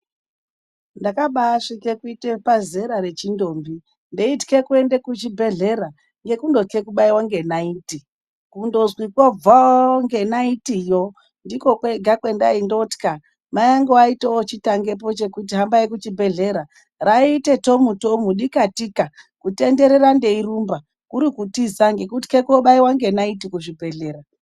Ndakabasvike kuite pazera rechindombi ndeitye kuenda kuzvibhedhlera ngekundotye kubaiwa ngenaiti kundonzi kwo bvoo ngenaitiyo ndiko kwega kwendaindotya, mai angu aiti ochitangepo chekuti hambai kuchibhedhlera raiite tomu- tomu dikatika kutenderera ndeirumba kurikutiza ngekutya kobaiwa ngenaiti kuzvibhedhlera.